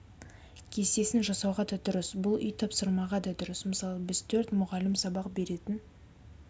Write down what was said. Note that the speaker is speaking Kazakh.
кестесін жасауға да дұрыс бұл үй тапсырмаға да дұрыс мысалы біз төрт мұғалім сабақ беретін